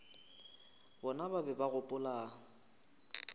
bona ba be ba gopola